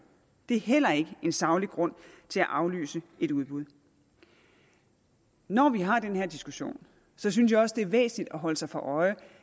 det er heller ikke en saglig grund til at aflyse et udbud når vi har den her diskussion synes jeg også det er væsentligt at holde sig for øje